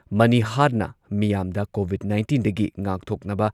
ꯃꯅꯤꯍꯥꯔꯅ ꯃꯤꯌꯥꯝꯗ ꯀꯣꯚꯤꯗ ꯅꯥꯏꯟꯇꯤꯟꯗꯒꯤ ꯉꯥꯛꯊꯣꯛꯅꯕ